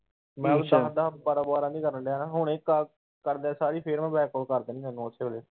ਮੈਂ ਦੱਸ-ਦੱਸ ਬਾਰਾ-ਬਾਰਾ ਦੀ ਕਰਨ ਦੀਆ ਹਣਾ ਹੁਣੀ ਕਰਦਿਆ ਸਾਰ ਫਿਰ Back Call ਕਰ ਦੇਣੀ ਤੈਨੂੰ ਉਸੇ ਵੇਲੇ।